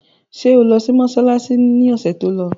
Ṣé o lọ sí mọsálásí ni ọ̀sẹ̀ tó lọ?